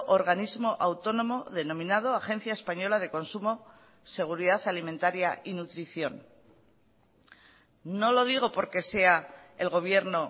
organismo autónomo denominado agencia española de consumo seguridad alimentaria y nutrición no lo digo porque sea el gobierno